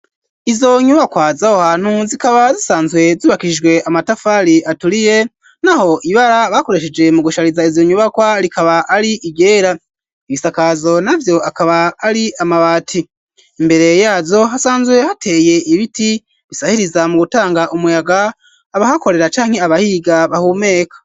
Izo nyubakwa zaho hantu zikaba zisanzwe zubakijwe amatafari aturiye, n'aho ibara bakoresheje mu gushariza izo nyubakwa rikaba ari ryera, ibisakazo na vyo akaba ari amabati, imbere yazo hasanzwe hateye ibiti bisahiriza mu gutanga umuyaga abahakorera canke abahiga bahumeka.